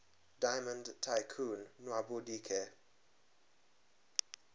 diamond tycoon nwabudike